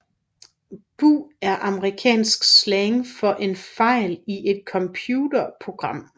Bug er amerikansk slang for en fejl i et computerprogram